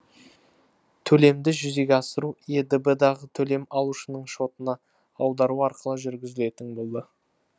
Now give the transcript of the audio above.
төлемді жүзеге асыру едб дағы төлем алушының шотына аудару арқылы жүргізілетін болды